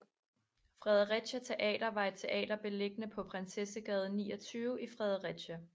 Fredericia Teater var et teater beliggende på Prinsessegade 29 i Fredericia